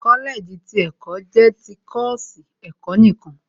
Kọ́lẹ̀ẹ̀jì ti ẹ̀kọ́ jẹ́ ti kọ́ọ̀sì ẹ̀kọ́ nìkan